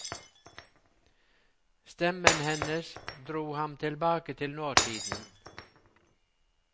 Stemmen hennes dro ham tilbake til nåtiden.